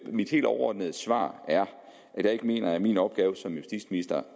mit helt overordnede svar er at jeg ikke mener at det er min opgave som justitsminister